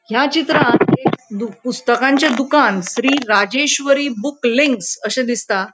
ह्या चित्रान एक पुस्तकाचे दुकान श्री राजेश्वरी बुक लिंक्स अशे दिसता.